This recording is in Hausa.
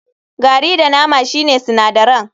Gari da nama shine sinadaran.